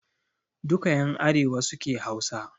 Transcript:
Duka ƴan arewa suke Hausa